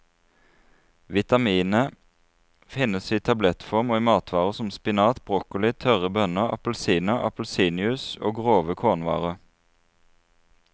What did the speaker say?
Vitaminet finnes i tablettform og i matvarer som spinat, broccoli, tørre bønner, appelsiner, appelsinjuice og grove kornvarer.